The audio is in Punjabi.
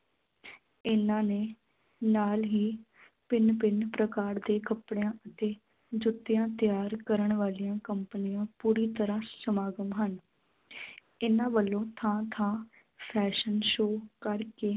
ਇਨ੍ਹਾਂ ਨੇ ਨਾਲ ਹੀ ਭਿੰਨ ਭਿੰਨ ਪ੍ਰਕਾਰ ਦੇ ਕੱਪੜਿਆਂ ਅਤੇ ਜੁੱਤਿਆਂ ਤਿਆਰ ਕਰਨ ਵਾਲੀਆਂ ਕੰਪਨੀਆਂ ਪੂਰੀ ਤਰ੍ਹਾਂ ਸਮਾਗਮ ਹਨ ਇਨ੍ਹਾਂ ਵੱਲੋਂ ਥਾਂ ਥਾਂ fashion show ਕਰਕੇ